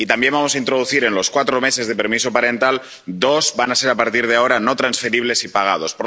Y también vamos a introducir que, de los cuatro meses de permiso parental, dos meses van a ser a partir de ahora no transferibles y pagados.